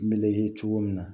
N bɛ ye cogo min na